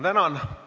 Tänan!